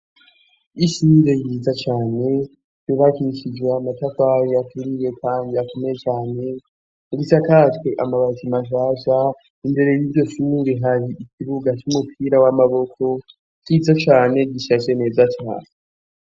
Ishure ryiza cane, ryubakishijwe amatafari aturiye kandi atumye cane, risakajwe amabati mashasha. Imbere y'iryo shure hari ikibuga c'umupira w'amaboko, ciza cane, gicapfye neza cane.